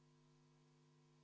Palun võtta seisukoht ja hääletada!